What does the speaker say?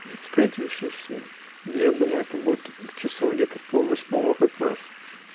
встретимся всем я думаю это будет к часов где-то в пол восьмого как раз